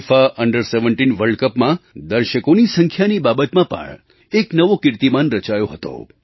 FIFA under 17 world Cupમાં દર્શકોની સંખ્યાની બાબતમાં પણ એક નવો કીર્તિમાન રચાયો હતો